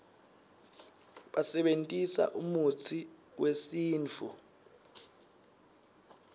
basebentisa umutsi uesintfu